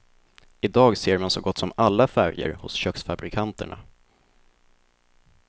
I dag ser man så gott som alla färger hos köksfabrikanterna.